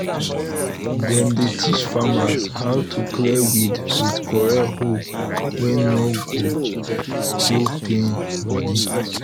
dem dey teach farmer how to clear weed with correct hoe wey no go go pain body.